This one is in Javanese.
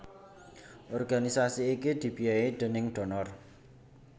Organisasi iki dibiayai déning donor